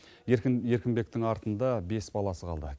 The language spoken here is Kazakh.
еркін еркінбектің артында бес баласы қалды